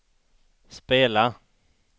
spela